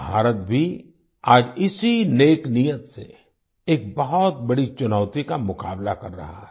भारत भी आज इसी नेक नीयत से एक बहुत बड़ी चुनौती का मुकाबला कर रहा है